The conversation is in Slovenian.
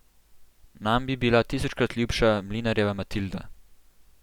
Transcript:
Nam bi bila tisočkrat ljubša mlinarjeva Matilda.